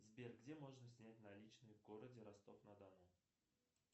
сбер где можно снять наличные в городе ростов на дону